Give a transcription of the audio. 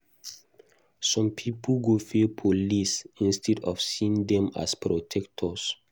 Some pipo go fear police instead of seeing dem as protectors.